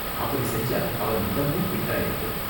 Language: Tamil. அப்படி செஞ்சா, அவன் உடம்பும் ஃபிட்டா இருக்கும்.